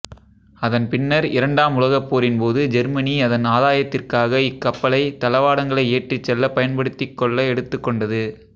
அதன் பின்னர் இரண்டாம் உலகப்போரின் போது ஜெர்மனி அதன் ஆதாயத்திற்காக இக்கப்பலை தளவாடங்களை ஏற்றிச்செல்ல பயன்படுத்திக்கொள்ள எடுத்துக்கொண்டது